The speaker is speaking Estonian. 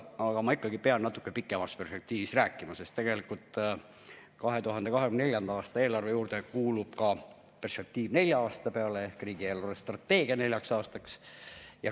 Aga ma ikkagi pean natuke pikemas perspektiivis rääkima, sest tegelikult 2024. aasta eelarve juurde kuulub ka perspektiiv neljaks aastaks ehk riigi eelarvestrateegia neljaks aastaks.